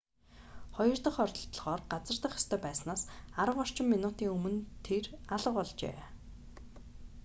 хоёр дох оролдлогоор газардах ёстой байснаас арав орчим минутын өмнө тэр алга болжээ